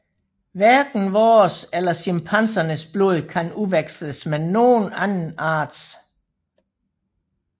Hverken vores eller chimpansernes blod kan udveksles med nogen anden arts